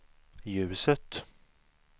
ljuset